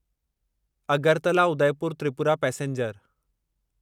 Agartala Udaipur Tripura passenger